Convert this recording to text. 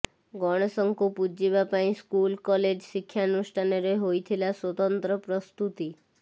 ଗଣେଶଙ୍କୁ ପୂଜିବା ପାଇଁ ସ୍କୁଲ କଲେଜ ଶିକ୍ଷାନୁଷ୍ଠାନରେ ହୋଇଥିଲା ସ୍ୱତନ୍ତ୍ର ପ୍ରସ୍ତୁତି